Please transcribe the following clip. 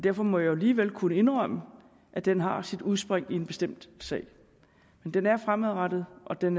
derfor må jeg jo alligevel kunne indrømme at den har sit udspring i en bestemt sag men den er fremadrettet og den